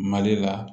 Mali la